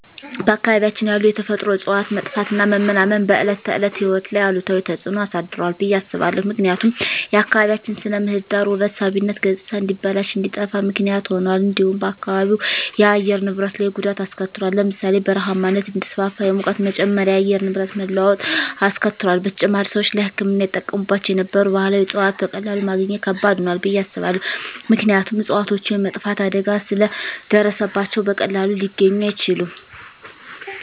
በአካባቢያችን ያሉ የተፈጥሮ እፅዋት መጥፋትና መመናመን በዕለት ተዕለት ሕይወት ላይ አሉታዊ ተጽዕኖ አሳድሯል ብየ አስባለሁ። ምክንያቱም የአካባቢያችን ስነ ምህዳር ውበት ሳቢነት ገፅታ እንዲበላሽ እንዲጠፋ ምክንያት ሁኗል። እንዲሁም በአካባቢው የአየር ንብረት ላይ ጉዳት አሰከትሏል ለምሳሌ ( በረሃማነት እንዲስፋፋ፣ የሙቀት መጨመር፣ የአየር ንብረት መለዋወጥ አስከትሏል። በተጨማሪም፣ ሰዎች ለሕክምና ይጠቀሙባቸው የነበሩ ባህላዊ እፅዋትን በቀላሉ ማግኘት ከባድ ሆኗል ብየ አስባለሁ። ምክንያቱም እፅዋቶቹ የመጥፋት አደጋ ስለ ደረሰባቸው በቀላሉ ሊገኙ አይችሉም።